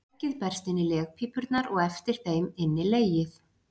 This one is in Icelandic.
Eggið berst inn í legpípurnar og eftir þeim inn í legið.